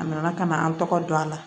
A nana ka na an tɔgɔ dɔn a la